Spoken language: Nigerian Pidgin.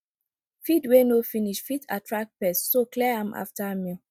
feed wey no finish fit attract pests so clear am after meal